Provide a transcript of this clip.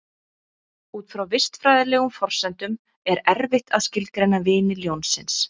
Út frá vistfræðilegum forsendum er erfitt að skilgreina vini ljónsins.